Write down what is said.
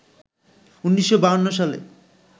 ১৯৫২ সালে